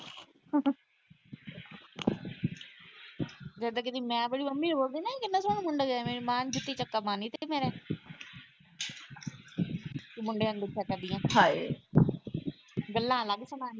ਜੇ ਇਦਾਂ ਕਦੇ ਮੈਂ ਆਪਣੀ ਮੰਮੀ ਨੂੰ ਬੋਲਦੀ ਨਾ ਕਿੰਨਾ ਸੋਹਣਾ ਮੁੰਡਾ ਗਿਆ। ਮੇਰੀ ਮਾਂ ਨੇ ਜੁੱਤੀ ਚੁੱਕ ਕੇ ਮਾਰਨੀ ਸੀ ਮੇਰੇ। ਤੂੰ ਮੁੰਡਿਆਂ ਨੂੰ ਦੇਖਿਆ ਕਰਦੀ ਆ। ਗੱਲਾਂ ਅੱਲਗ ਸੁਨਾਉਣੀਆਂ ਸੀਗੀਆਂ।